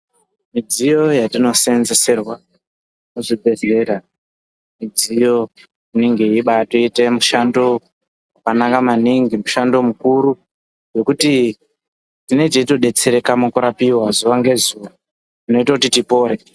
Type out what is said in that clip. Midziyo yatinoseenzeserwa muzvibhedhlera midziyo inenge yeibatoite mushando wakanaka maningi mushando mukuru wekuti tinenge teitodetsereka mukurapiwa zuwa ngezuwa inoite kuti tipore.